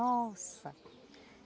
Nossa...